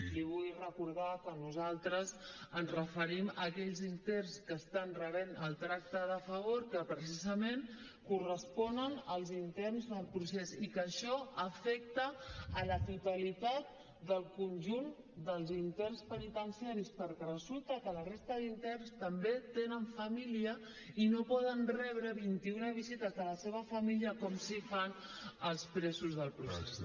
li vull recordar que nosaltres ens referim a aquells interns que estan rebent el tracte de favor que precisament correspon als interns del procés i que això afecta la totalitat del conjunt dels interns penitenciaris perquè resulta que la resta d’interns també tenen família i no poden rebre vint i una visites de la seva família com sí que fan els presos del procés